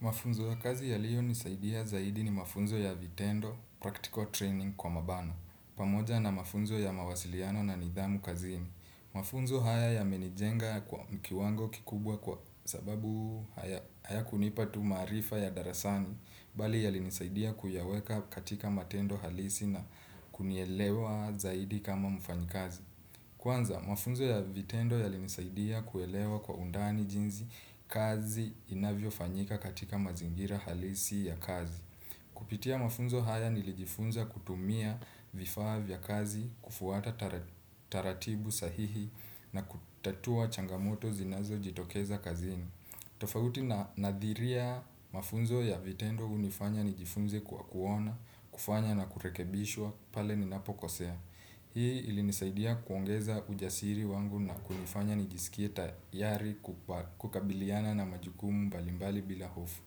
Mafunzo ya kazi yaliyo nisaidia zaidi ni mafunzo ya vitendo, practical training kwa mabano. Pamoja na mafunzo ya mawasiliano na nidhamu kazini. Mafunzo haya ya menijenga kwa mkiwango kikubwa kwa sababu hayakunipa tu maarifa ya darasani, bali yalinisaidia kuyaweka katika matendo halisi na kunielewa zaidi kama mfanyi kazi. Kwanza, mafunzo ya vitendo yalinisaidia kuelewa kwa undani jinsi kazi inavyo fanyika katika mazingira halisi ya kazi. Kupitia mafunzo haya nilijifunza kutumia vifaa vya kazi, kufuata taratibu sahihi na kutatua changamoto zinazo jitokeza kazini. Tofauti na nadhiria mafunzo ya vitendo hunifanya nijifunze kwa kuona, kufanya na kurekebishwa pale ninapo kosea. Hii ilinisaidia kuongeza ujasiri wangu na kunifanya nijisikie tayari kukabiliana na majukumu mbalimbali bila hofu.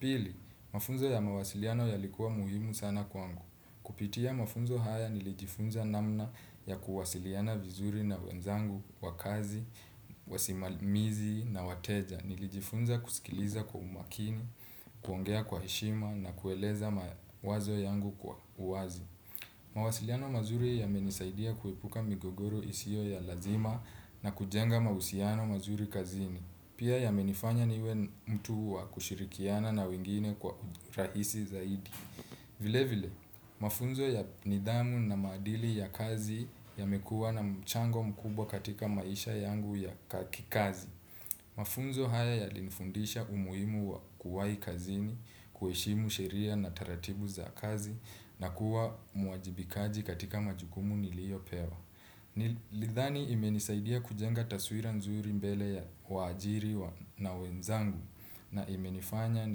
Pili, mafunzo ya mawasiliano yalikuwa muhimu sana kwangu. Kupitia mafunzo haya nilijifunza namna ya kuwasiliana vizuri na wenzangu, wa kazi, wasimamizi na wateja. Nilijifunza kusikiliza kwa umakini, kuongea kwa heshima na kueleza mawazo yangu kwa uwazi. Mawasiliano mazuri ya yamenisaidia kuepuka migogoro isiyo ya lazima na kujenga mahusiano mazuri kazini. Pia yamenifanya niwe mtu wa kushirikiana na wengine kwa rahisi zaidi. Vile vile, mafunzo ya nidhamu na maadili ya kazi yamekuwa na mchango mkubwa katika maisha yangu ya kikazi. Mafunzo haya yalinifundisha umuhimu wa kuwahi kazini, kuheshimu sheria na taratibu za kazi na kuwa muwajibikaji katika majukumu niliyo pewa. Nilidhani imenisaidia kujenga taswira nzuri mbele ya waajiri na wenzangu na imenifanya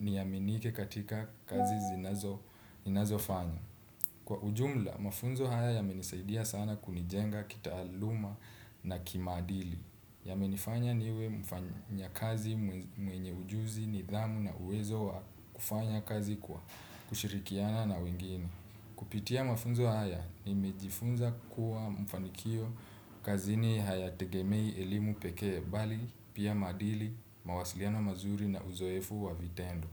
niaminike katika kazi ninazofanya. Kwa ujumla, mafunzo haya yamenisaidia sana kunijenga kitaaluma na kimaadili. Ya menifanya niwe mfanya kazi mwenye ujuzi, nidhamu na uwezo kufanya kazi kwa kushirikiana na wengine. Kupitia mafunzo haya, nimejifunza kuwa mafanikio kazini haya tegemei elimu pekee bali, pia maadili, mawasiliano mazuri na uzoefu wa vitendo.